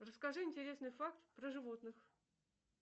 расскажи интересный факт про животных